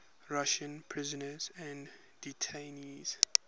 russian prisoners and detainees